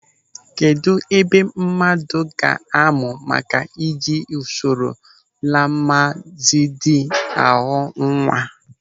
Kedụ ebe mmadụ ga-amụ maka ị ji usoro Lamazedi a ghọọ nwa.